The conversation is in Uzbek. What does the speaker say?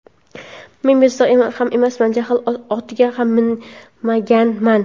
Men bezovta ham emasman, jahl otiga ham minmaganman.